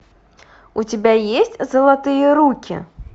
у тебя есть золотые руки